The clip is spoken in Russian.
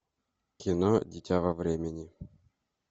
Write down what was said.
кино дитя во времени